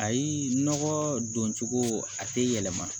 Ayi nɔgɔ don cogo a tɛ yɛlɛma